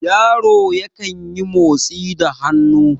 yaro yankan yi motsi da hannu